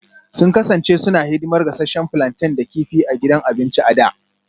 Sun kasance suna hidimar gasasshen plantain da kifi a gidan abinci a da